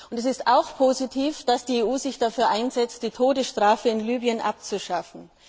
Es ist positiv, dass die EU sich dafür einsetzt, die Todesstrafe in Libyen abzuschaffen.